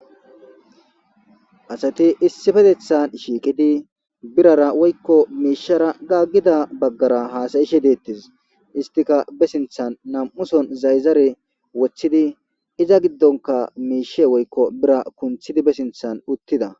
Asati issipetettan shiqidi birrara woykko mishara gagida baggara hasayishe detes istika be sinttan nam'u sohon zayizare wottidi iza gidonika mishe woykko birra kuntidi be sinttan uttida.